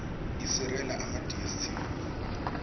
iserela emadstv